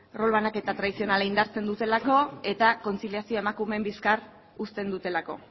rol banaketa tradizionala indartzen dutelako eta kontziliazioa emakumeen bizkar uzten dutelako